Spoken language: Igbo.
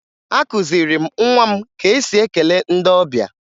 Akụziri m nwa m ka e si ekele ndị ọbịa